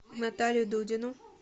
наталию дудину